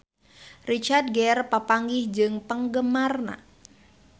Richard Gere papanggih jeung penggemarna